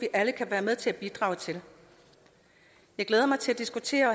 alle kan være med til at bidrage til jeg glæder mig til at diskutere